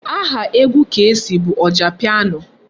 Aha egwu Kcee bụ Ojapiano.